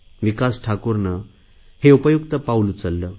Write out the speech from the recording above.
विकास ठाकूरने हे उपयुक्त पाऊल उचलले